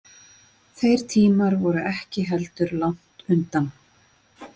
Þeir tímar voru ekki heldur langt undan.